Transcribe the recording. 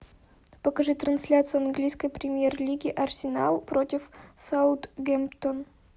покажи трансляцию английской премьер лиги арсенал против саутгемптон